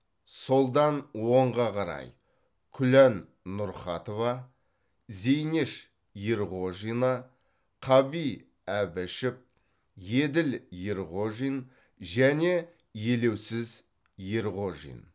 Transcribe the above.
солдан оңға қарай күлән нұрхатова зейнеш ерғожина қаби әбішев еділ ерғожин және елеусіз ерғожин